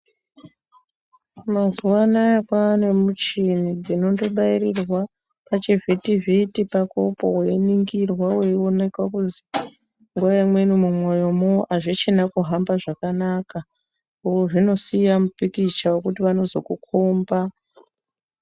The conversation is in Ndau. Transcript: Mazuva anaya kwane muchini dzinondo bairirwa pachi vhiti vhiti pakopo weiningirwa weioneka kuzi nguva imweni mu mwoyo mwo azvichina kuhamba zvakanaka zvinosiya mu pikicha wekuti vanozoku komba.